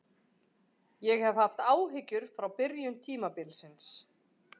Ég hef haft áhyggjur frá byrjun tímabilsins.